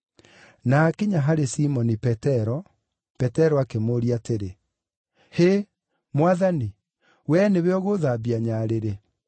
Na aakinya harĩ Simoni Petero, Petero akĩmũũria atĩrĩ, “Hĩ, Mwathani, wee nĩwe ũgũũthambia nyarĩrĩ?”